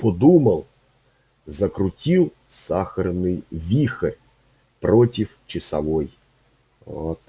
подумал закрутил сахарный вихрь против часовой оо та